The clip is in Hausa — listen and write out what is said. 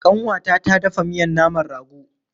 Ƙanwata ta dafa miyan naman rago.